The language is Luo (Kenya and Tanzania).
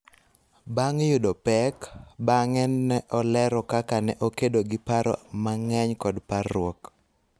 Bang� yudo pek, bang�e ne olero kaka ne okedo gi paro mang�eny kod parruok.